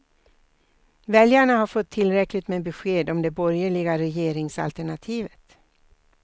Väljarna har fått tillräckligt med besked om det borgerliga regeringsalternativet.